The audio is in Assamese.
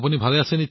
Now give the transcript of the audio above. আপোনাৰ ভাল নে